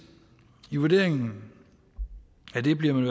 i vurderingen af det bliver man